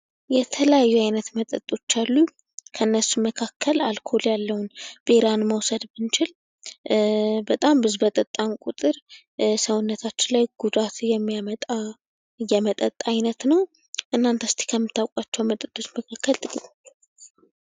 የተለያዩ ዓይነት መጠጦች አሉ። ከእነርሱም መካከል አልኮል ያለውን ቢራን መውሰድ ብንችል ፤ በጣም ብዙ በጠጣን ቁጥር ሰውነታችን ላይ ጉዳት የሚያመጣ የመጠጥ አይነት ነው። እናንተ እስከሚታወቋቸው መጠጦች መካከል ጥቂት ንገሩኝ?